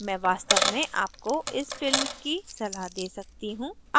मैं वास्तव में आपको इस film की सलाह दे सकती हूँ